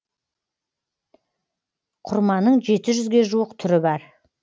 құрманың жеті жүзге жуық түрі бар